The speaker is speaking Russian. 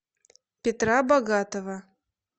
петра богатова